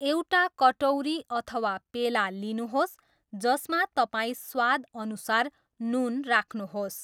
एउटा कटौरी अथवा पेला लिनुहोस् जसमा तपाईँ स्वादअनुसार नुन राख्नुहोस्।